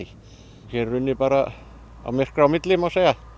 hér er unnið bara myrkra á milli má segja